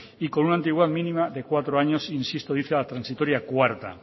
y con una antigüedad mínima de cuatro años insisto dice la transitoria cuarta